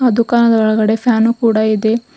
ಆ ದುಕಾನ ದೊಳಗಡೆ ಫ್ಯಾನು ಕೂಡ ಇದೆ.